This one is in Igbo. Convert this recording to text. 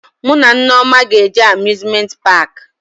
Mụ na Nneoma ga-eje Amuzmenti paakị